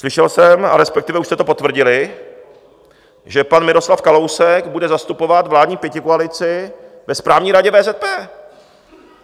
slyšel jsem, a respektive už jste to potvrdili, že pan Miroslav Kalousek bude zastupovat vládní pětikoalici ve Správní radě VZP.